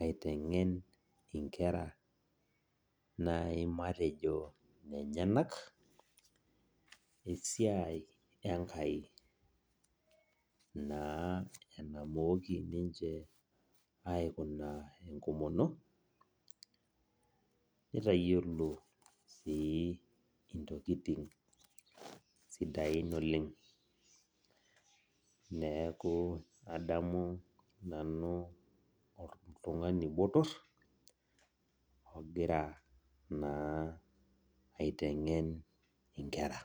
aitengen nkera natejo nenyenak esiai enkai matejo naa enamooki ninche aikuna enkomono nitayiolo si ntokitin sidain oleng neaku adamu nanu oltungani botor ogira naa aitengen nkera.